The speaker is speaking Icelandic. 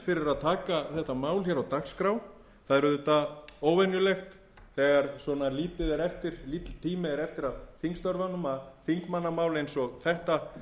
að taka þetta mál hér á dagskrá það er auðvitað óvenjulegt þegar svona lítill tími er eftir af þingstörfunum að þingmannamál eins og þetta